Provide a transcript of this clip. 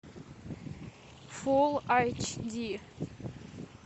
фулл айч ди